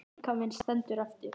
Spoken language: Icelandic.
Líkaminn stendur eftir.